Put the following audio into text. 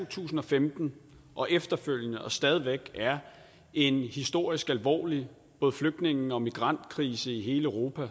tusind og femten og efterfølgende og stadig væk er en historisk alvorlig både flygtninge og migrantkrise i hele europa og